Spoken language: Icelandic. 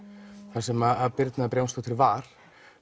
þar sem Birna Brjánsdóttir var